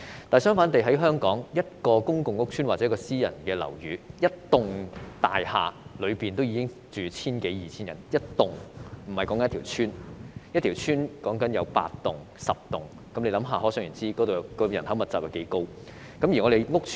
但是，反觀香港的情況，一幢公共屋邨或私人樓宇已有千多二千名住客，一個屋邨有8至10幢大廈，可想而知人口密集情況多嚴重。